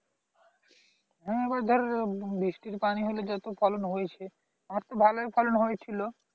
হম এবার ধর বৃষ্টির পানী হলে যত ফলন হয়েছে আমার তো ভালোই ফলন হয়েছিল